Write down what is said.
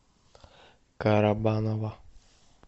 карабаново